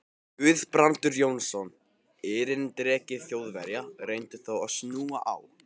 Guðbrandur Jónsson, erindreki Þjóðverja, reyndi þá að snúa á